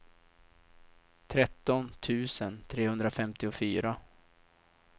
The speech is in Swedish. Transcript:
tretton tusen trehundrafemtiofyra